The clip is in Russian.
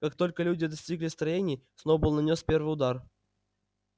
как только люди достигли строений сноуболл нанёс первый удар